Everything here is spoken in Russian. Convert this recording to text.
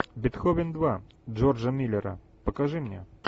бетховен два джорджа миллера покажи мне